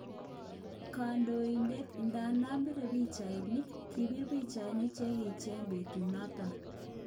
Konetidet idadan bire pichainik ,kibir pichainik chekiicheken betunoton